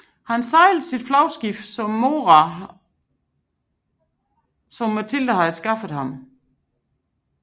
Han sejlede sit flagskib Mora som Matilde havde skaffet ham